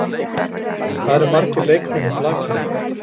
Hvað eru margir leikmenn í blakliði?